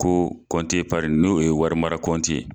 Ko n'o ye wari mara kɔnti ye.